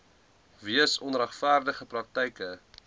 weens onregverdige praktyke